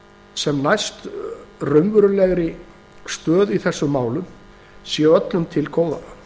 sem næst raunverulegri stöðu í þessum málum sé öllum til góða